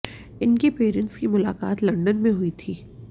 इनके पेरेंट्स की मुलाकात लंदन में हुई थी